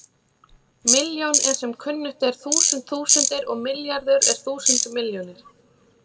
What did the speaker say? Milljón er sem kunnugt er þúsund þúsundir og milljarður er þúsund milljónir.